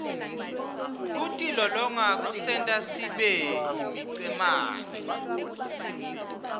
kutilolonga kusenta sibeyimicemene